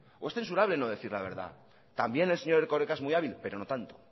o es censurable no decir la verdad también el señor erkoreka es muy hábil pero no tanto